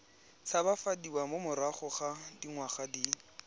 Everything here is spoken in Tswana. tshabafadiwa morago ga dingwaga di